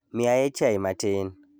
Miyae chai matin.